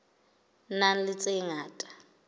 nang le tse ngata tse